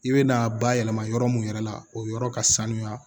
I bɛ na bayɛlɛma yɔrɔ mun yɛrɛ la o yɔrɔ ka sanuya